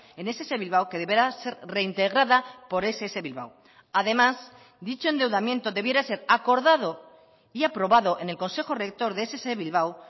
en ess bilbao que deberá ser reintegrada por ess bilbao además dicho endeudamiento debiera ser acordado y aprobado en el consejo rector de ess bilbao